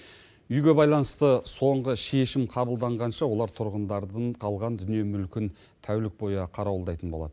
үйге байланысты соңғы шешім қабылданғанша олар тұрғындардың қалған дүние мүлкін тәулік бойы қарауылдайтын болады